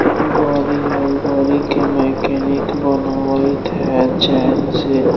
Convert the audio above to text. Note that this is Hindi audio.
गारी हैं गाड़ी के मैकेनिक बनावीत हैं चैन से--